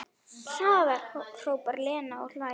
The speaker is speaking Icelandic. Hraðar, hrópar Lena og hlær.